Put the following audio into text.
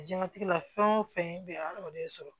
Jɛnnatigɛ la fɛn o fɛn bɛ hadamaden sɔrɔ